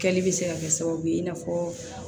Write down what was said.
Kɛli bɛ se ka kɛ sababu ye i n'a fɔ